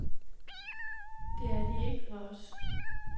Det er de ikke for os.